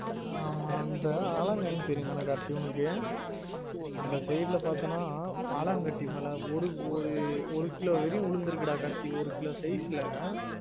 ஆமா அந்த தெரியும் தான கார்த்தி உனக்கு அந்த side ல பாத்தான ஆலங்கட்டி மழ ஒரு ஒரு ஒரு கிலோ வெரையும் உழுந்துருக்கு டா கார்த்தி ஒரு கிலோ size ல